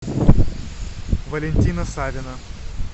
валентина савина